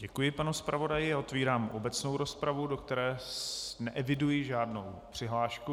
Děkuji panu zpravodaji a otevírám obecnou rozpravu, do které neeviduji žádnou přihlášku.